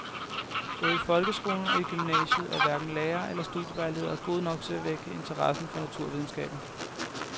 Både i folkeskolen og i gymnasiet er hverken lærere eller studievejledere gode nok til at vække interessen for naturvidenskaben.